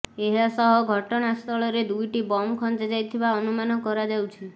ଏହା ସହ ଘଟଣା ସ୍ଥଳରେ ଦୁଇଟି ବମ୍ ଖଞ୍ଜା ଯାଇଥିବା ଅନୁମାନ କରାଯାଉଛି